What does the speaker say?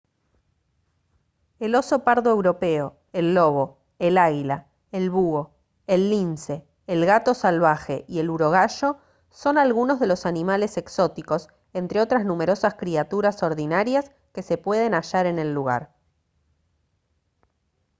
el oso pardo europeo el lobo el águila el búho el lince el gato salvaje y el urogallo son algunos de los animales exóticos entre otras numerosas criaturas ordinarias que se pueden hallar en el lugar